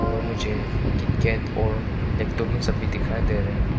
और मुझे किटकैट और सब भी दिखाई दे रहे हैं।